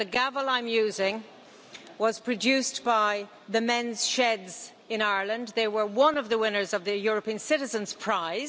The gavel I am using was produced by the Men's Sheds in Ireland they were one of the winners of the European Citizen's Prize.